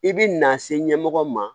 I bi na se ɲɛmɔgɔ ma